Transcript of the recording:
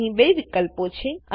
અહી બે વિકલ્પો છે